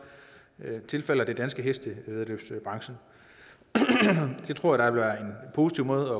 tilfalder den danske hestevæddeløbsbranche det tror jeg vil være en positiv måde